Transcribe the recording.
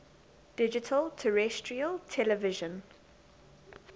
digital terrestrial television